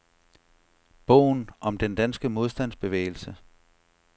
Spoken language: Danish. Bogen om den danske modstandsbevægelse.